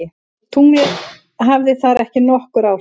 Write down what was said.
Tunglið hafði þar ekki nokkur áhrif.